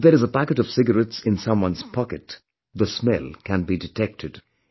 Even if there is a packet of cigarettes in someone's pocket, the smell can be detected